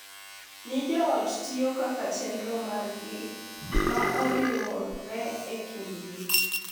Ni joot tiyo kaka chenro mar ji ma oriwre e kindgi,